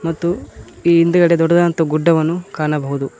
ಮತ್ತು ಈ ಹಿಂದ್ಗಡೆ ದೊಡ್ಡದಾದಂತ ಗುಡ್ಡವನ್ನು ಕಾಣಬಹುದು.